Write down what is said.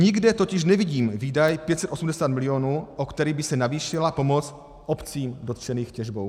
Nikde totiž nevidím výdaj 580 milionů, o který by se navýšila pomoc obcím dotčeným těžbou.